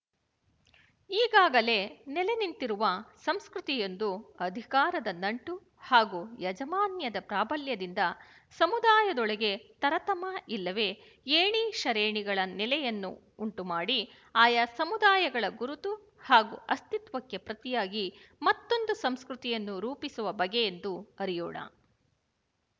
ಈಗಾಗಲೇ ನೆಲೆನಿಂತಿರುವ ಸಂಸ್ಕೃತಿ ಯೊಂದು ಅಧಿಕಾರದ ನಂಟು ಹಾಗೂ ಯಾಜಮಾನ್ಯದ ಪ್ರಾಬಲ್ಯದಿಂದ ಸಮುದಾಯದೊಳಗೆ ತರತಮ ಇಲ್ಲವೇ ಏಣಿಶರೇಣಿಗಳ ನೆಲೆಯನ್ನು ಉಂಟುಮಾಡಿ ಆಯಾ ಸಮುದಾಯಗಳ ಗುರುತು ಹಾಗೂ ಅಸ್ತಿತ್ವಕ್ಕೆ ಪ್ರತಿಯಾಗಿ ಮತ್ತೊಂದು ಸಂಸ್ಕೃತಿ ಯನ್ನು ರೂಪಿಸುವ ಬಗೆಯೆಂದು ಅರಿಯೋಣ